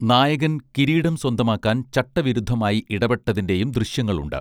നായകൻ കിരീടം സ്വന്തമാക്കാൻ ചട്ടവിരുദ്ധമായി ഇടപെട്ടതിന്റെയും ദൃശ്യങ്ങളുണ്ട്